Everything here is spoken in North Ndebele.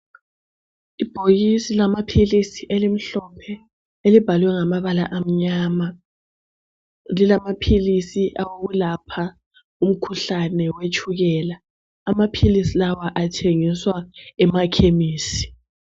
Ibhokisi lamaphilisi elimhlophe, elibhalwe ngamabala amnyama. Lilamaphilisi awokulapha umkhuhlane wetshukela. Amaphilisi lawa athengiswa emakhemisi.